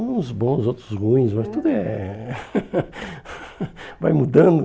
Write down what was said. Uns bons, outros ruins, mas tudo é... Vai mudando.